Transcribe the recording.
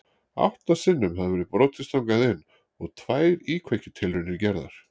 Átta sinnum hafði verið brotist þangað inn og tvær íkveikjutilraunir gerðar.